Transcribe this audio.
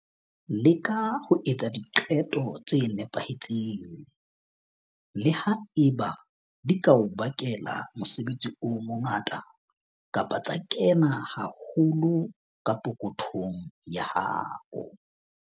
Leka ho etsa diqeto tse nepahetseng, le ha eba di ka o bakela mosebetsi o mongata kapa tsa kena haholo ka pokothong ya hao.